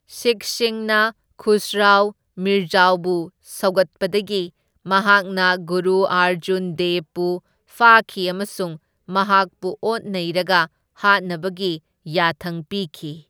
ꯁꯤꯈꯁꯤꯡꯅ ꯈꯨꯁꯔꯥꯎ ꯃꯤꯔꯖꯥꯎꯕꯨ ꯁꯧꯒꯠꯄꯗꯒꯤ ꯃꯍꯥꯛꯅ ꯒꯨꯔꯨ ꯑꯔꯖꯨꯟ ꯗꯦꯕꯕꯨ ꯐꯥꯈꯤ ꯑꯃꯁꯨꯡ ꯃꯍꯥꯛꯄꯨ ꯑꯣꯠ ꯅꯩꯔꯒ ꯍꯥꯠꯅꯕꯒꯤ ꯌꯥꯊꯪ ꯄꯤꯈꯤ꯫